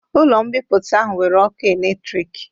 Ụlo mbipụta ahụ nwere ọkụ electrịk